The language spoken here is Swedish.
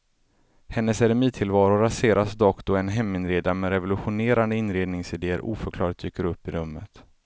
Hennes eremittillvaro raseras dock då en heminredare med revolutionerande inredningsidéer oförklarligt dyker upp i rummet.